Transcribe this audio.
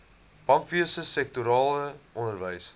bankwese sektorale onderwys